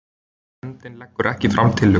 Nefndin leggur ekki fram tillögu